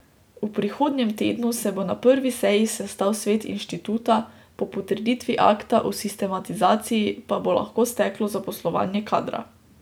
V prihodnjem tednu se bo na prvi seji sestal svet inštituta, po potrditvi akta o sistemizaciji pa bo lahko steklo zaposlovanje kadra.